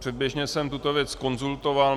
Předběžně jsem tuto věc konzultoval.